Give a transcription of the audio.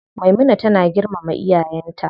Maimuna tana girmama iyayen ta.